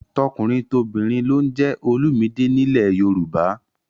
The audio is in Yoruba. Tọkùnrintobìnrin ló ń jẹ́ Olumide nílẹ̀ Yorùbá